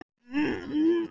Við tókum þessu alvarlega.